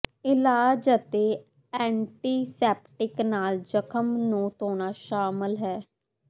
ਇਲਾਜ ਵਿਚ ਐਂਟੀਸੈਪਟਿਕ ਨਾਲ ਜ਼ਖ਼ਮ ਨੂੰ ਧੋਣਾ ਸ਼ਾਮਲ ਹੈ